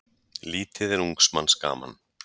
Lítið er ungs manns gaman.